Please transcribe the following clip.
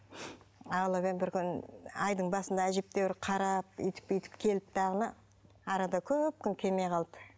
алып едім бір күні айдың басында әжептәуір қарап өйтіп бүйтіп келді дағыны арада көп күн келмей қалды